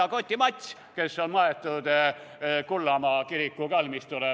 Sitakoti Mats, kes on maetud Kullamaa kiriku kalmistule.